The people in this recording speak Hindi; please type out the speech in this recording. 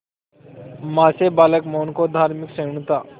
मां से बालक मोहन को धार्मिक सहिष्णुता